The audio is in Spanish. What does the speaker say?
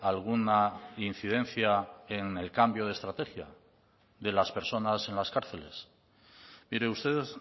alguna incidencia en el cambio de estrategia de las personas en las cárceles mire ustedes